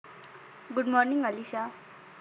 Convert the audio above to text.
good morning Alisha